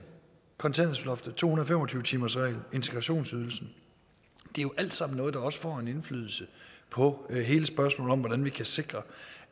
kontanthjælpsloftet to hundrede og fem og tyve timersreglen og integrationsydelsen det er jo alt sammen noget der også får en indflydelse på hele spørgsmålet om hvordan vi kan sikre